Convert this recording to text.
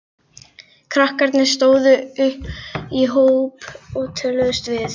Krakkarnir stóðu í hóp og töluðust við.